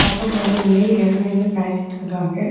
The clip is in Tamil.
அப்ரம் கொஞ்சம் பிள்ளைங்க ஓரமா நின்னு பேசிட்டு இருக்காங்க.